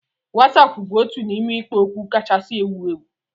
Wasapu bụ otu n'ime ikpo okwu kachasị ewu ewu